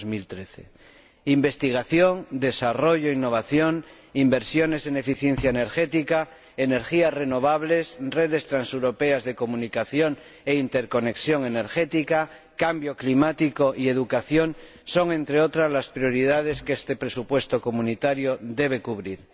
2013. Investigación, desarrollo, innovación, inversiones en eficiencia energética, energías renovables, redes transeuropeas de comunicación e interconexión energética, cambio climático y educación son, entre otras, las prioridades que este presupuesto comunitario debe cubrir.